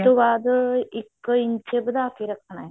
ਬਾਅਦ ਇੱਕ ਇੰਚ ਵਧਾ ਕਿ ਰੱਖਣਾ